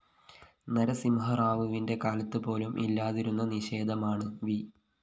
നരസിംഹറാവുവിന്റെ കാലത്ത്‌ പോലും ഇല്ലാതിരുന്ന നിഷേധമാണ്‌ വി